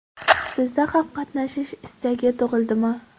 Sizda ham qatnashish istagi tug‘ildimi?